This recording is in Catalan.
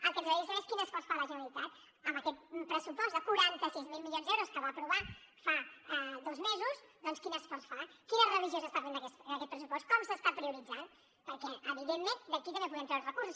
el que ens agradaria saber és quin esforç fa la generalitat amb aquest pressupost de quaranta sis mil milions d’euros que va aprovar fa dos mesos quin esforç fa quina revisió s’està fent d’aquest pressupost com s’està prioritzant perquè evidentment d’aquí també en podem treure recursos